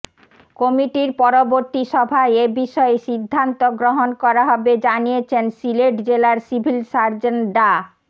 কমিটির পরবর্তী সভায় এ বিষয়ে সিদ্ধান্ত গ্রহণ করা হবে জানিয়েছেন সিলেট জেলার সিভিল সার্জন ডা